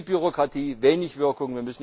Viel Bürokratie, wenig Wirkung.